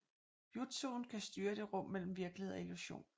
Jutsuen kan styre det rum mellem virkelighed og illusion